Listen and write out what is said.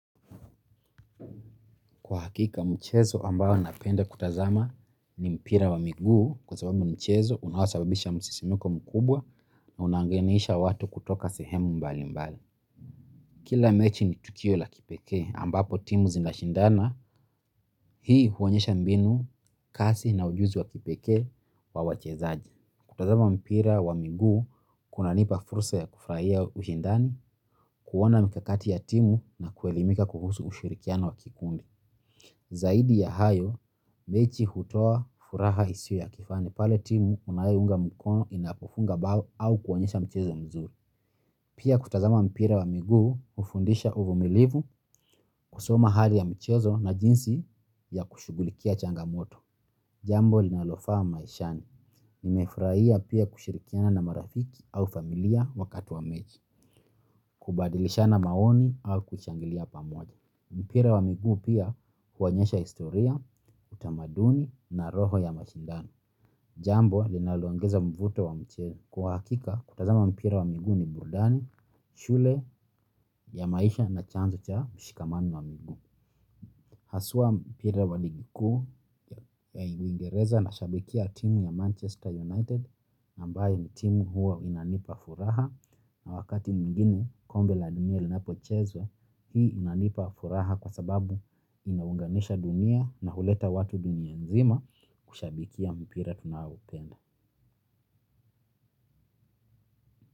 Kwa hakika mchezo ambao napenda kutazama ni mpira wa miguu kwa sababu mchezo unaosababisha msisimko mkubwa na unaunganisha watu kutoka sehemu mbali mbali. Kila mechi ni tukio la kipekee ambapo timu zinashindana hii huonyesha mbinu kasi na ujuzi wa kipekee wa wachezaji. Kutazama mpira wa miguu kunanipa fursa ya kufurahia ushindani, kuona mikakati ya timu na kuelimika kuhusu ushirikiano wa kikundi. Zaidi ya hayo, mechi hutoa furaha isiyo ya kifani pale timu unayounga mkono inapofunga bao au kuonyesha mchezo mzuri. Pia kutazama mpira wa miguu hufundisha uvumilivu kusoma hali ya mchezo na jinsi ya kushughulikia changamoto. Jambo linalofaa maishani. Nimefurahia pia kushirikiana na marafiki au familia wakati wa mechi, kubadilishana maoni au kushangilia pamoja. Mpira wa miguu pia huonyesha historia, utamaduni na roho ya mashindano. Jambo linaloongeza mvuto wa mchezo kwa hakika kutazama mpira wa miguu ni burudani, shule ya maisha na chanzo cha mshikamano wa miguu. Haswa mpira wa ligi kuu ya uingereza nashabikia timu ya Manchester United ambayo ni timu huwa inanipa furaha. Na wakati mwingine kombe la dunia linapochezwa hii inanipa furaha kwa sababu inaunganisha dunia na huleta watu dunia nzima kushabikia mpire tunaoupenda.